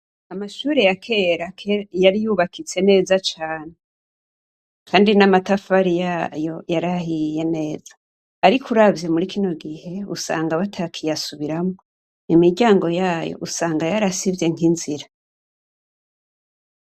Amashure yakera yari yubakitse neza cane, kandi n'amatafari yayo yarahiye neza, ariko uravye muri kino gihe usanga batakiyasubiramwo, imiryango yayo usanga yarasivye nk'inzira.